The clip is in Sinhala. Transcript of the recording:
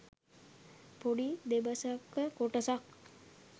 පොඩි දෙබසක කොටසක්